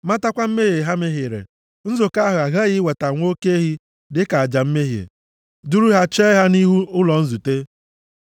matakwa mmehie ha mehiere, nzukọ ahụ aghaghị iweta nwa oke ehi dịka aja mmehie, duru ya chee ya nʼihu ụlọ nzute.